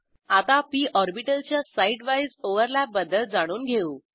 आता पी ऑर्बिटलच्या side wise overlap बद्दल जाणून घेऊ